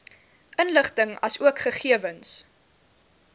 inligting asook gegewens